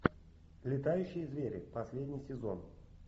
летающие звери последний сезон